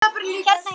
Hérna hjá mér.